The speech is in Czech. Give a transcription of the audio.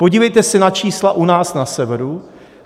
Podívejte se na čísla u nás na severu.